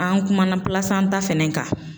An kumana plasanta fɛnɛ kan.